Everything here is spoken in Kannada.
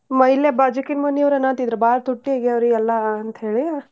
ಮ~ ಇಲ್ಲೇ ಬಾಜುಕಿನ್ ಮನಿಯವ್ರ್ ಅನ್ನತಿದ್ರ ಬಾಳ್ ತುಟ್ಟಿಯಾಗ್ಯಾವ್ರಿ ಎಲ್ಲಾ ಅಂತೇಳಿ.